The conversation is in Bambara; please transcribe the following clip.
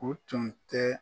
O tun tɛ.